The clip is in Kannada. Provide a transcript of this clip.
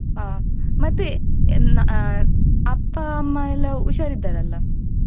ಹ ಮತ್ತೆ ಹ ಅಪ್ಪ-ಅಮ್ಮ ಎಲ್ಲ ಹುಷಾರಿದ್ದಾರಲ್ಲ.